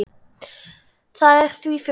Það er því fyrir hendi.